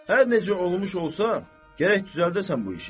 Hər necə olmuş olsa, gərək düzəldəsən bu işi.